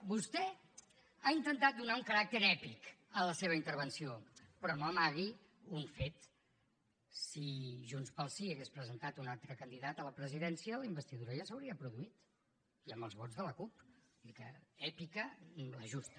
vostè ha intentat donar un caràcter èpic a la seva intervenció però no amagui un fet si junts pel sí hagués presentat un altre candidat a la presidència la investidura ja s’hauria produït i amb els vots de la cup vull dir que èpica la justa